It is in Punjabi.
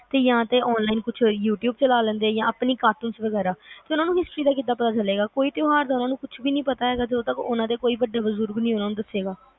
ਸੀ ਯਾ ਤੇ online ਕੁਛ youtube ਚਲਾ ਲੈਂਦੇ ਯਾ ਆਪਣੇ cartoons ਵਗੈਰਾ ਚਲੋ ਉਹਨਾਂ ਨੂੰ ਕੀ ਪਤਾ ਚਲੋ ਉਹਨਾਂ ਨੂੰ history ਕਿਸੇ ਚੀਜ਼ ਦਾ ਕਿ ਪਤਾ ਚਲੇਗਾ ਕੋਈ ਤਿਉਹਾਰ ਦਾ ਉਹਨਾਂ ਨੂੰ ਕੁਛ ਵੀ ਨੀ ਪਤਾ ਹੈਗਾ ਜਦੋ ਤੱਕ ਉਹਨਾਂ ਦਾ ਵੱਡਾ ਬਜ਼ੁਰਗ ਉਹਨਾਂ ਨੂੰ ਕੁਛ ਨਹੀਂ ਦੱਸੇਗਾ